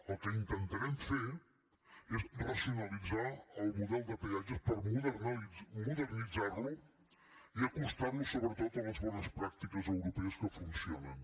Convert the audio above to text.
el que intentarem fer és racionalitzar el model de peatges per modernitzar lo i acostar lo sobretot a les bones pràctiques europees que funcionen